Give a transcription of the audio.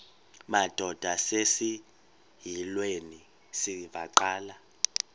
madod asesihialweni sivaqal